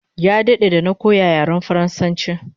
Ya dade da na koya yaren faransanchi